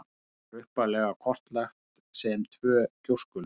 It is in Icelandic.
Það var upphaflega kortlagt sem tvö gjóskulög.